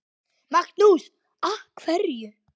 Magnús: Af hverju?